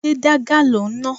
Ṣé dígà lò ń ná?